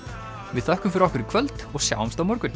við þökkum fyrir okkur í kvöld og sjáumst á morgun